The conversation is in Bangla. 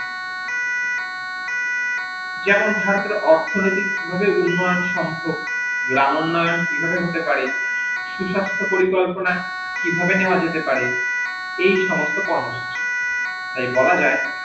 যেমন ধরো অর্থনীতিক ভাবে উন্নয়ন সম্ভব গ্রাম্যান্নয়ন কিভাবে হতে পারে সুসাস্থ পরিকল্পনা কিভাবে নেওয়া যেতে পারে এই সমস্ত কর্ম সুচি তাই বলা যাই